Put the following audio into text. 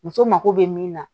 Muso mako be min na